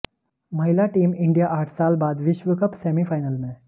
महिला team India आठ साल बाद विश्व कप सेमीफाइनल में